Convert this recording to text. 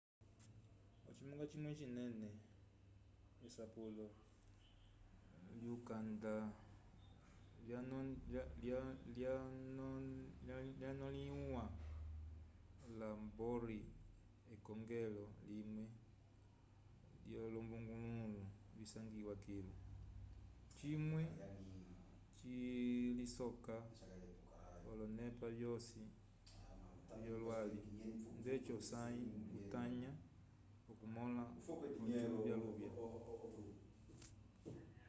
ocimunga cimwe cinene esapulo lyukanda lyanonẽhiwa la bohr ekongelo limwe lyolombungululu visangiwa kilu cimwe cilisoka olonepa vyosi vyolwali ndeci osãyi utanya okum-ola ociluvyavya 1.1